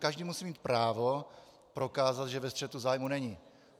Každý musí mít právo prokázat, že ve střetu zájmů není.